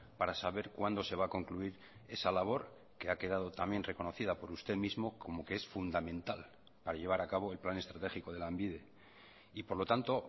para saber cuándo se va a concluir esa labor que ha quedado también reconocida por usted mismo como que es fundamental para llevar a cabo el plan estratégico de lanbide y por lo tanto